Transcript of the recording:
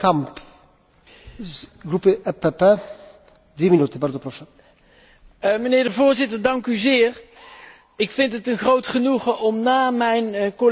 Voorzitter, ik vind het een groot genoegen om na mijn collega van Front National te spreken want dan kunnen we meteen even de verschillen markeren.